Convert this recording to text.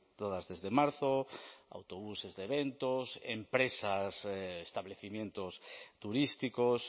todas desde marzo autobuses de eventos empresas establecimientos turísticos